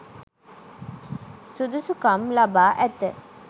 සුදුසුකම් ලබා ඇත.